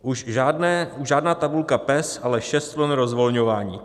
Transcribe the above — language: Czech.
Už žádná tabulka PES, ale šest vln rozvolňování.